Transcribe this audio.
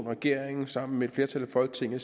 regeringen sammen med et flertal i folketinget